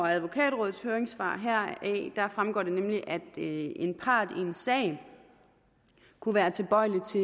advokatrådets høringssvar heraf fremgår det nemlig at en part i en sag kunne være tilbøjelig til